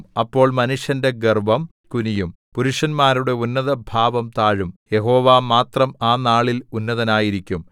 അപ്പോൾ മനുഷ്യന്റെ ഗർവ്വം കുനിയും പുരുഷന്മാരുടെ ഉന്നതഭാവം താഴും യഹോവ മാത്രം ആ നാളിൽ ഉന്നതനായിരിക്കും